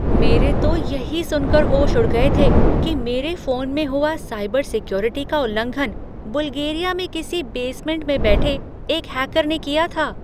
मेरे तो यही सुनकर होश उड़ गए थे कि मेरे फोन में हुआ साइबर सिक्योरिटी का उल्लंघन बुल्गेरिया में किसी बेसमेंट में बैठे एक हैकर ने किया था।